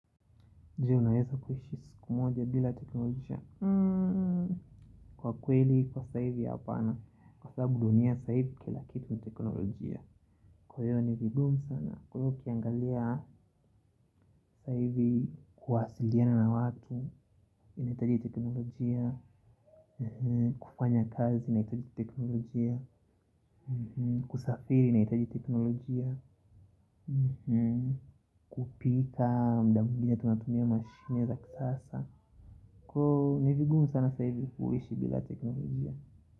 Je unaweza kuishi siku moja bila teknolojia kwa kweli kwa saa hivi hapana kwa sababu dunia saa hivi kila kitu ni teknolojia kwa hiyo ni vigumu sana kwa hiyo ukiangalia saa hivi kuwasiliana na watu inahitaji teknolojia kufanya kazi inahitaji teknolojia kusafiri inahitaji teknolojia kupika muda mwingine tunatumia mashine za kisasa kwa hiyo ni vigumu sana saa hivi kuishi bila teknolojia.